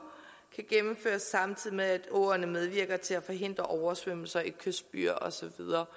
kan gennemføres samtidig med at åerne medvirker til at forhindre oversvømmelser i kystbyer og så videre